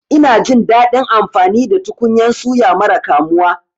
Ina jin daɗin amfani da tukunyan suya mara kamuwa.